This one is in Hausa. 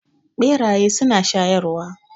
Beraye suna shayarwa.